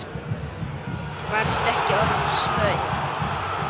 Varstu ekki orðin svöng?